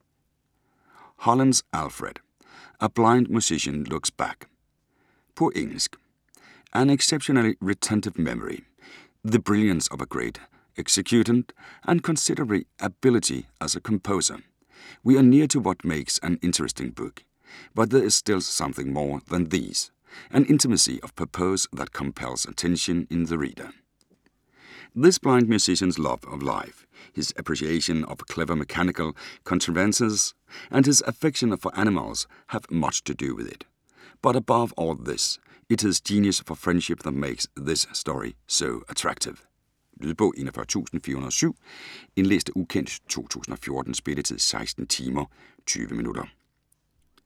Hollins, Alfred: A blind musician looks back På engelsk. An exceptionally retentive memory, the brilliance of a great executant, and considerable ability as a composer – we are nearer to what makes an interesting book; but there is still something more than these; an intimacy of purpose that compels attention in the reader. This blind musician's love of life, his appreciation of clever mechanical contrivances, and his affection for animals have much to do with it, but above all else it is his genius for friendship that makes this story so attractive. Lydbog 41407 Indlæst af ukendt, 2014. Spilletid: 16 timer, 20 minutter.